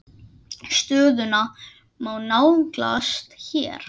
Stöðuna má nálgast hér.